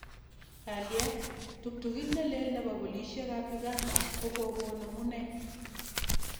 Kalyet:Ptuktukit neleel nebo polishek kap Uganda kokokon amune